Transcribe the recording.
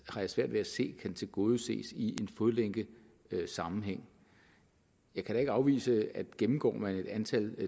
jeg svært ved at se kan tilgodeses i en fodlænkesammenhæng jeg kan da ikke afvise at gennemgår man et antal